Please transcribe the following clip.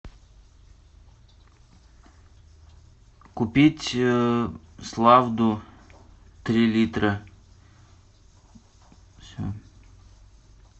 купить славду три литра все